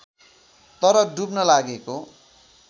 तर डुब्न लागेको